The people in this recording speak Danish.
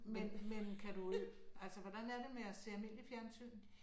Men men kan du altså hvordan er det med at se almindelig fjernsyn?